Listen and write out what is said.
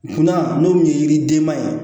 Dunan n'o kun ye yiridenba ye